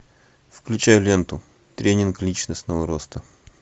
включай ленту тренинг личностного роста